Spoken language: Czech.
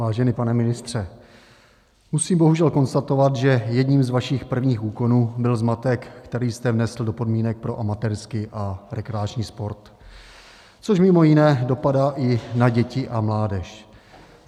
Vážený pane ministře, musím bohužel konstatovat, že jedním z vašich prvních úkonů byl zmatek, který jste vnesl do podmínek pro amatérský a rekreační sport, což mimo jiné dopadá i na děti a mládež.